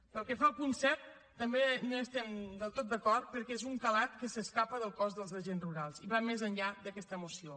pel que fa al punt set tampoc no hi estem del tot d’acord perquè és d’un calat que s’escapa del cos dels agents rurals i va més enllà d’aquesta moció